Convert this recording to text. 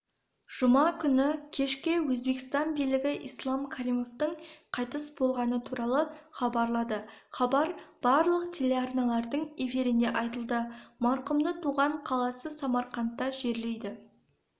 жұма күні кешке өзбекстан билігі ислам каримовтің қайтыс болғаны туралы хабарлады хабар барлық телеарналардың эфирінде айтылды марқұмды туған қаласы самарқандта жерлейді